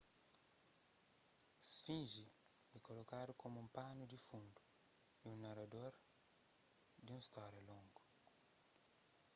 sfinge é kolokadu komu un panu di fundu y narador di un stória longu